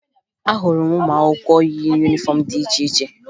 Ahụrụ m ụmụakwụkwọ yi yunifọmụ dị iche iche